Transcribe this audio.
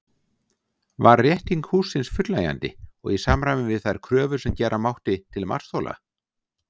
Var rétting hússins fullnægjandi og í samræmi við þær kröfur sem gera mátti til matsþola?